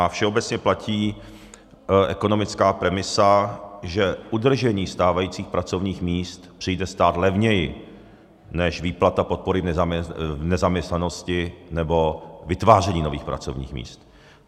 A všeobecně platí ekonomická premisa, že udržení stávajících pracovních míst přijde stát levněji než výplata podpory v nezaměstnanosti nebo vytváření nových pracovních míst.